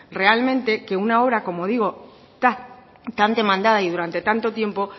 realmente que una obra como digo tan demandada y durante tanto tiempo